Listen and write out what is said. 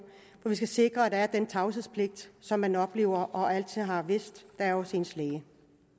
og vi skal sikre at der er den tavshedspligt som man oplever og altid har vidst der er hos ens læge